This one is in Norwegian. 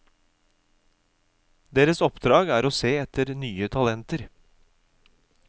Deres oppdrag er å se etter nye talenter.